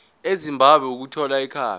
ezimbabwe ukuthola ikhambi